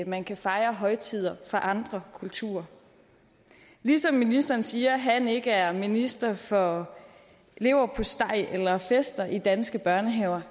man kan fejre højtider for andre kulturer ligesom ministeren siger at han ikke er minister for leverpostej eller fester i danske børnehaver